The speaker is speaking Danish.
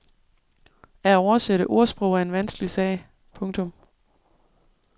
At oversætte ordsprog er en vanskelig sag. punktum